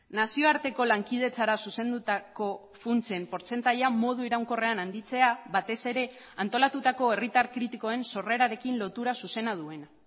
nazioarteko lankidetzara zuzendutako funtsen portzentaia modu iraunkorrean handitzea batez ere antolatutako herritar kritikoen sorrerarekin lotura zuzena duena